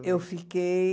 Eu fiquei...